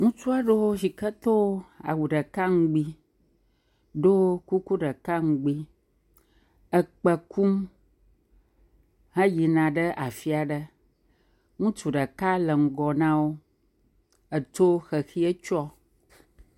Ŋutsu aɖe yike do awu ɖeka ŋugbi, ɖo kuku ɖeka ŋugbi, ekpɛ kum he yina ɖe afia ɖe. Ŋutsu ɖeka le ŋgɔ nawo, etsɔ xexi tsɔ.